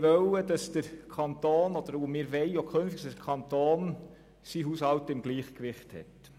Wir wollten und wollen es immer noch, dass der Kanton seinen Haushalt im Gleichgewicht hat.